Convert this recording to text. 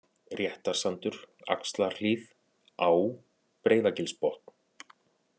Réttasandur, Axlarhlíð, Á, Breiðagilsbotn